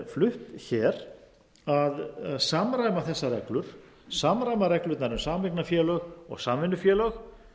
flutt hér að samræma þessar reglur samræma reglurnar um sameignarfélög og samvinnufélög